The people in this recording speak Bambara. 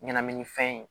Ɲɛnaminifɛn ye